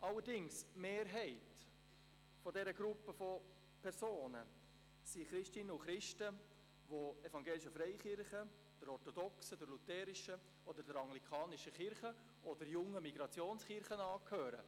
Allerdings die Mehrheit dieser Gruppe von Personen sind Christinnen und Christen, die evangelischen Freikirchen, der orthodoxen, der lutherischen oder der anglikanischen Kirche oder jungen Migrationskirchen angehören.